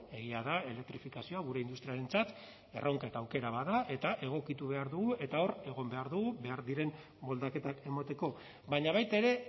egia da elektrifikazioa gure industriarentzat erronka eta aukera bat da eta egokitu behar dugu eta hor egon behar du behar diren moldaketak emateko baina baita ere